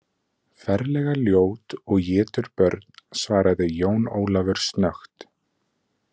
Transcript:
Ferlega ljót og étur börn, svaraði Jón Ólafur snöggt.